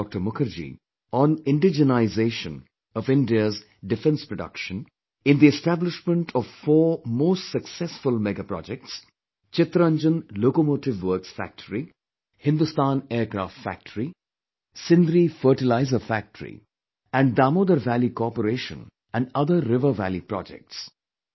Mukherjee on indigenization of India's defence production, in the establishment of four most successful mega projects Chittaranjan locomotive works factory, Hindustan aircraft factory, Sindri fertilizer factory and Damodar Valley Corporation and other river valley projects, Dr